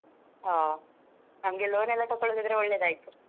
ಹೋ ನಮಗೆ loan ಎಲ್ಲಾ ತಕ್ಕೋಳೋದಿದ್ರೆ ಒಳ್ಳೆದಾಯ್ತು.